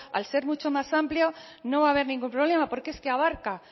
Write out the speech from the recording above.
al ser mucho más amplio no va haber ningún problema porque es que abarca